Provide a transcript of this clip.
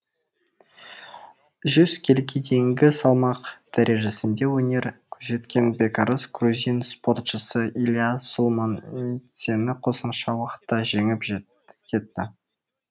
жүз келіге дейінгі салмақ дәрежесінде өнер көрсеткен бекарыс грузин спортшысы илиа сулуманидзені қосымша уақытта жеңіп кетті